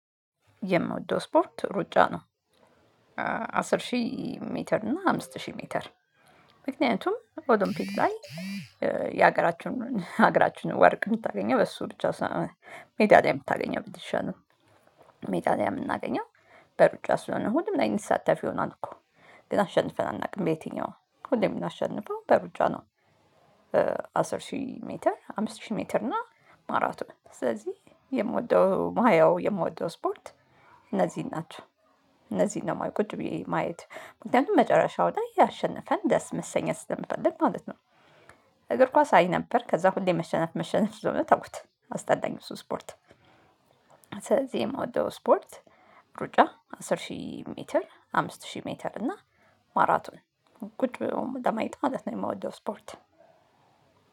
የምወደው ስፖርት ሩጫ ነው አሥር አሥር ሺህ ሜትር እና አምስት ሺህ ሜትር ምክንያቱም ኦሎምፒክ ላይ የሀገራችንን ሀገራችንን ወርቅ የምታገኘው በሱ ሩጫ ሜዳሊያ የምታገኘው ብትሸነው። ሜዳሊያ የምናገኘው በሩጫ ስለሆነ ሁሉም ላይ ይሳተፍ ይሆናል እኮ ግን አሸንፈን አናውቅም በየትኛውም ሁሉም የምናሸንፈው በሩጫ ነው። አስር ሺህ ሜትር አምስት ሺህ ሜትር እና ማራቶን ስለዚህ የምወደው መሃያው የምወደው ስፖርት እነዚህን ናቸው። እነዚህን ነው የማየው ቁጭ ብዬ ማየት መጨረሻው ላይ አሸንፈን ደስ መሰኘት ስለምፈልግ ማለት ነው። እግር ኳስ አይ ነበር ከዛ ሁሌ መሸነፍ መሸነፍ ስለሆነ ተውኩት አስጠላኝ እሱ ስፖርት። ስለዚህ የምወደው ስፖርት ሩጫ አስር ሺህ ሜትር አምስት ሺህ ሜትር እና ማራቶን ቁጭ ብሎ ለማየት ማለት ነው። የምወደው ስፖርት